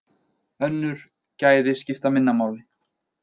Önnur gæði skipta minna máli.